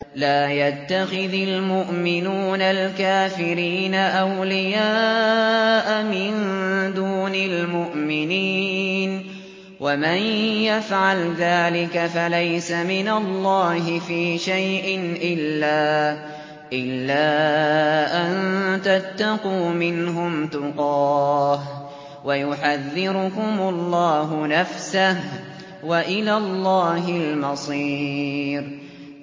لَّا يَتَّخِذِ الْمُؤْمِنُونَ الْكَافِرِينَ أَوْلِيَاءَ مِن دُونِ الْمُؤْمِنِينَ ۖ وَمَن يَفْعَلْ ذَٰلِكَ فَلَيْسَ مِنَ اللَّهِ فِي شَيْءٍ إِلَّا أَن تَتَّقُوا مِنْهُمْ تُقَاةً ۗ وَيُحَذِّرُكُمُ اللَّهُ نَفْسَهُ ۗ وَإِلَى اللَّهِ الْمَصِيرُ